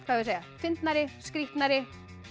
að segja fyndnari skrýtnari